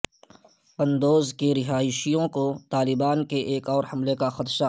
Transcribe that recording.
قندوز کے رہائشیوں کو طالبان کے ایک اور حملے کا خدشہ